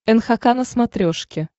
нхк на смотрешке